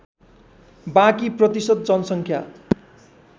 बाँकी प्रतिशत जनसङ्ख्या